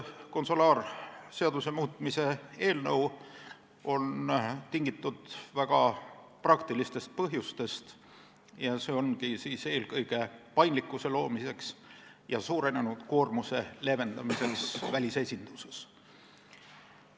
Konsulaarseaduse muutmise seaduse eelnõu on tingitud väga praktilistest põhjustest, see on esitatud eelkõige paindlikkuse loomiseks ja suurenenud koormuse leevendamiseks välisesindustes.